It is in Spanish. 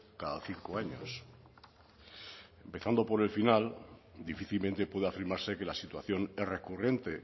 cada cinco años empezando por el final difícilmente puede afirmarse que la situación es recurrente